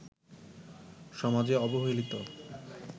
সমাজে অবহেলিত